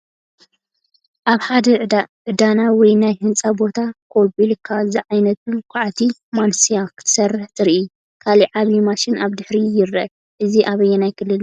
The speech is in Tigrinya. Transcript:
ኣብ ሓደ ዕደና ወይ ናይ ህንጻ ቦታ ኮቤልኮ ዝዓይነታ ኳዕቲ (ማንስያ) ክትሰርሕ ትረአ። ካልእ ዓቢ ማሽን ኣብ ድሕሪት ይርአ። እዚ ኣበኣየናይ ክልል እዩ ?